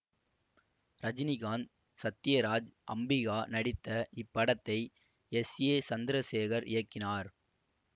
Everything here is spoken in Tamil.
ரஜினிகாந்த் சத்யராஜ் அம்பிகா நடித்த இப்படத்தை எஸ் ஏ சந்தரசேகர் இயக்கினார்